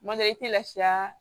Kuma dɔ la i tɛ lafiya